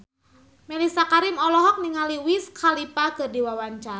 Mellisa Karim olohok ningali Wiz Khalifa keur diwawancara